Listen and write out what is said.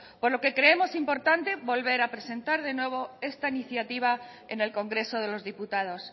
por lo que creemos importante volver a presentar de nuevo esta iniciativa en el congreso de los diputados